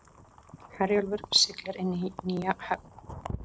Herjólfur siglir inn í nýja höfn